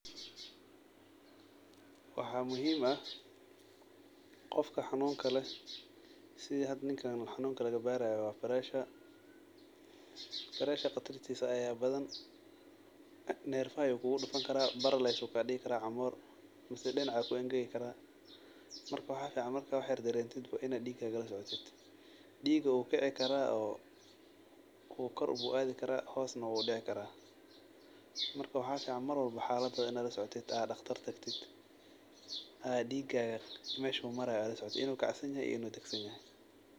Waxaa muhiim ah qofka xanuunka leh sidha hada ninkan xanuuka lagabaaraya waa pressure pressure qatarisa ahaa badhan neerfaha ayuu kugudufan karaa paralize ayuu kaadigi karaa camoor dinaca aa kuengegi karaa marka waxaa fican marka wax yar dareentid bo ina diigaaga lasocotid, diiga uu kici kara kor bu adhi karaa hoos neh uu udici karaa marka waxaa fican mar walbo xaaladadha ina lasocotid a daqtar tagtid aa diigaga meshu maraya lasocotid inuu kacsanyahy inuu dagsanyahay.